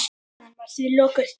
Staðnum var því lokað.